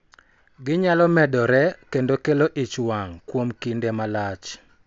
Ginyalo medore kendo kelo ich wang� kuom kinde malach,